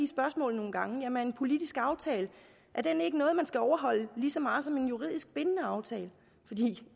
spørgsmålet nogle gange er en politisk aftale ikke noget man skal overholde lige så meget som en juridisk bindende aftale